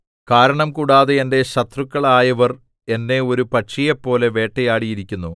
കാരണംകൂടാതെ എന്റെ ശത്രുക്കളായവർ എന്നെ ഒരു പക്ഷിയെപ്പോലെ വേട്ടയാടിയിരിക്കുന്നു